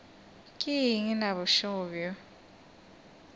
ke eng na bošego bjo